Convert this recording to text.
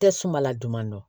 Tɛ suma la juman dɔn